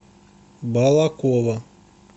балаково